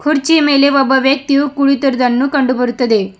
ಕುರ್ಚಿಯ ಮೇಲೆ ಒಬ್ಬ ವ್ಯಕ್ತಿಯು ಕುಳಿತಿರುವುದನ್ನು ಕಂಡು ಬರುತ್ತದೆ.